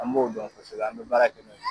An b'o dɔn kosɛbɛ an bɛ baara kɛ n'o ye.